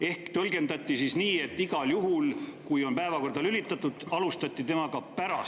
Ehk siis tõlgendati nii, et igal juhul, kui see on päevakorda lülitatud.